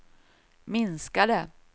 minskade